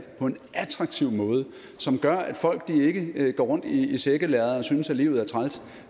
på en attraktiv måde som gør at folk ikke går rundt i sækkelærred og synes at livet er træls